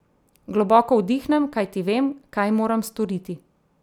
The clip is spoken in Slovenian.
Globoko vdihnem, kajti vem, kaj moram storiti.